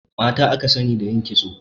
Mata aka sani da yin kitso